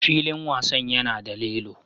Filin wasan yana da lilo.